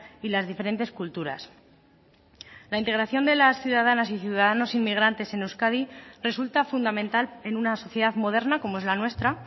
y las diferentes culturas la integración de las ciudadanas y ciudadanos inmigrantes en euskadi resulta fundamental en una sociedad moderna como es la nuestra